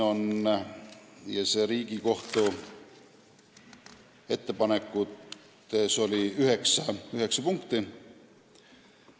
Riigikohtu ettepanek sisaldas üheksat punkti.